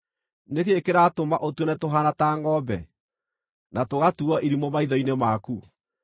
Nĩ kĩĩ kĩratũma ũtuone tũhaana ta ngʼombe, na tũgatuuo irimũ maitho-inĩ maku?